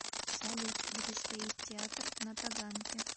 салют где стоит театр на таганке